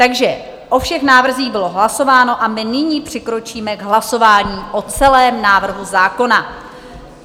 Takže o všech návrzích bylo hlasováno a my nyní přikročíme k hlasování o celém návrhu zákona.